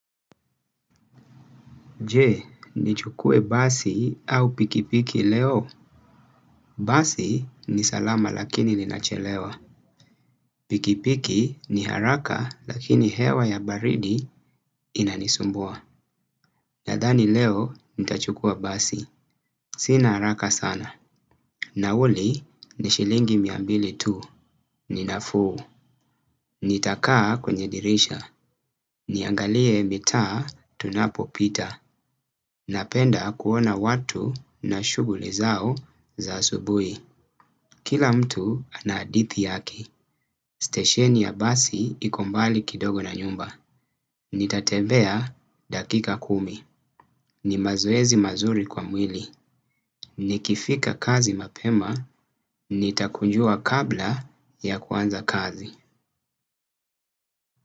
Je, nichukuwe basi au pikipiki leo? Basi ni salama lakini linachelewa. Pikipiki ni haraka lakini hewa ya baridi inanisumbuwa. Nadhani leo nitachukuwa basi. Sina haraka sana. Nauli ni shilingi mia mbili tu, ninafuu, nitakaa kwenye dirisha, niangalie mitaa tunapopita, napenda kuona watu na shughuli zao za asubuhi, kila mtu anahadithi yaki, stesheni ya basi iko mbali kidogo na nyumba, nitatebea dakika kumi, ni mazoezi mazuri kwa mwili, nikifika kazi mapema, nitakunjuwa kabla ya kwanza kazi.